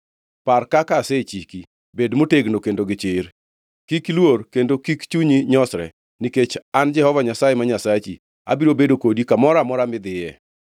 Par kaka asechiki. Bed motegno kendo gi chir. Kik iluor kendo kik chunyi nyosre; nikech an Jehova Nyasaye ma Nyasachi abiro bedo kodi kamoro amora midhiye.”